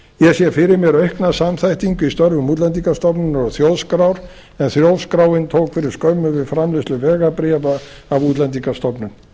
sé fyrir mér aukna samþættingu í störfum útlendingastofnunar og þjóðskrár en þjóðskráin tók fyrir skömmu við framleiðslu vegabréfa af útlendingastofnun